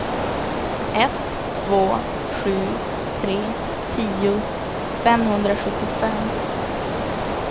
ett två sju tre tio femhundrasjuttiofem